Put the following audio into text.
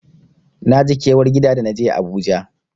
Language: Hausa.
Naji kewar gida da naje Abuja.